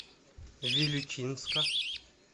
вилючинска